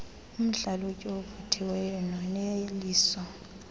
umhlalutyi ovuthiweyo noneliso